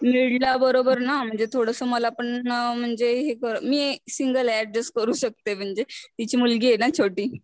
बरोबर ना म्हणजे थोडासा मला पण म्हणजे हे कर मी सिंगले अड्जस्ट करू शकते म्हणजे तिची मुलगी आहे ना छोटी.